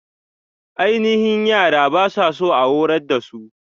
Aininhi yara ba su so a horar dasu.